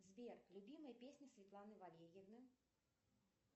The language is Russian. сбер любимые песни светланы валерьевны